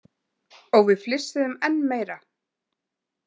Og við flissuðum enn meira.